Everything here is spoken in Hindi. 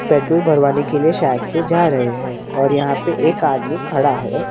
पेट्रोल भरवाने के लिए शायद से जा रहे हैं और यहाँ पे एक आदमी खड़ा हैं।